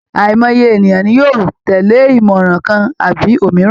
Àìmọye èèyàn ni yóò tẹ̀lé ìmọ̀ràn kan àbí òmíràn